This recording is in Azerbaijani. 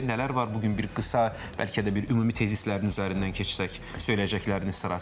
Nələr var bu gün bir qısa, bəlkə də bir ümumi tezislərin üzərindən keçsək, söyləyəcəkləriniz sırasında?